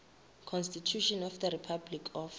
constitution of the republic of